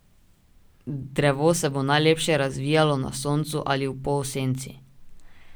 Drevo se bo najlepše razvijalo na soncu ali v polsenci.